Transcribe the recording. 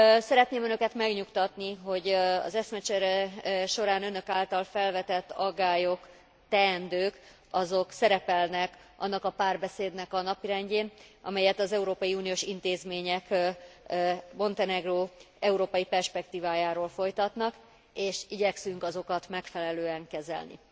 Szeretném Önöket megnyugtatni, hogy az eszmecsere során Önök által felvetett aggályok, teendők szerepelnek annak a párbeszédnek a napirendjén, amelyet az európai uniós intézmények Montenegró európai perspektívájáról folytatnak, és igyekszünk azokat megfelelően kezelni.